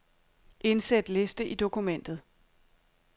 Indsæt liste i dokumentet.